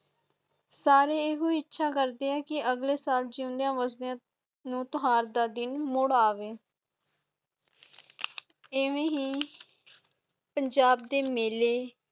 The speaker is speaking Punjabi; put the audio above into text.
ਸਾਰੇ ਇਹੋ ਇੱਛਾ ਕਰਦੇ ਹਨ ਕਿ ਅਗਲੇ ਸਾਲ ਜਿਯੋਨਦਯਾ ਵਸਦਿਆਂ ਤਿਓਹਾਰ ਦਾ ਦਿਨ ਮੁੜ ਆਵੇ ਐਵੇਂ ਹੀ ਪੰਜਾਬ ਦੇ ਮੇਲੇ